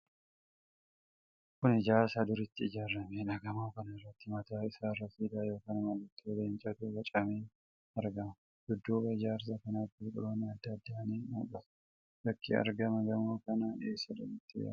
Kun ijaarsa duratti ijaaramedha. Gamoo kana irratti mataa isarra siidaa yookiin mallattoo leencaatu bocamee argama. Dudduuba Ijaarsa kanaatti biqiloonni adda addaa ni mul'atu. Bakki argama gamoo kanaa eessadha jettee yaadda?